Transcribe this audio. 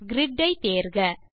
grid ஐ தேர்க